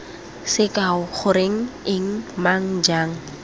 sekao goreng eng mang jang